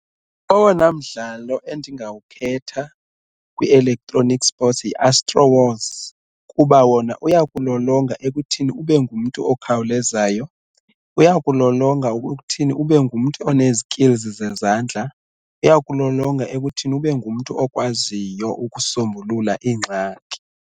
Owona mdlalo endingawukhetha kwi-electronic sports yiAstro Wars kuba wona uyakulolonga ekuthini ube ngumntu okhawulezayo, uyakukulolonga ekuthini ube ngumntu onezi-skills zezandla, uyakulolonga ekuthini ube ngumntu okwaziyo ukusombulula iingxaki.